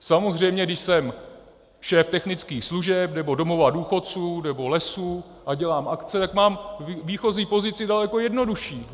Samozřejmě když jsem šéf technických služeb nebo domova důchodců nebo lesů a dělám akce, tak mám výchozí pozici daleko jednodušší.